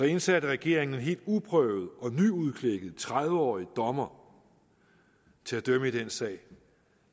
indsatte regeringen en helt uprøvet og nyudklækket tredive årig dommer til at dømme i denne sag